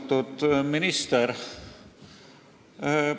Austatud minister!